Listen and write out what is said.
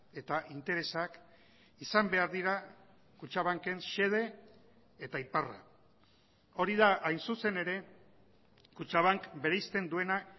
eta interesak izan behar dira kutxabanken xede eta iparra hori da hain zuzen ere kutxabank bereizten duena